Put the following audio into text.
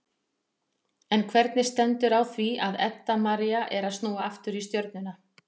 En hvernig stendur á því að Edda María er að snúa aftur í Stjörnuna?